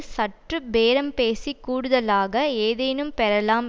சற்று பேரம் பேசி கூடுதலாக ஏதேனும் பெறலாம்